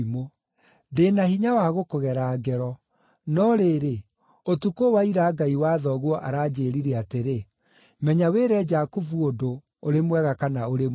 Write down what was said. Ndĩ na hinya wa gũkũgera ngero; no rĩrĩ, ũtukũ wa ira Ngai wa thoguo aranjĩĩrire atĩrĩ, ‘Menya wĩre Jakubu ũndũ, ũrĩ mwega kana ũrĩ mũũru.’